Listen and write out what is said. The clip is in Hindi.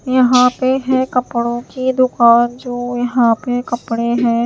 यहां पे है कपड़ों की दुकान जो यहां पे कपड़े हैं--